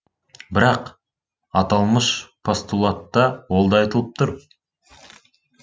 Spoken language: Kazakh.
бірақ аталмыш постулатта ол да айтылып тұр